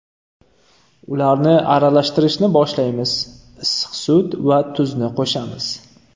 Ularni aralashtirishni boshlaymiz, issiq sut va tuzni qo‘shamiz.